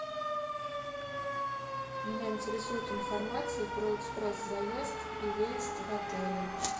меня интересует информация про экспресс заезд и выезд в отеле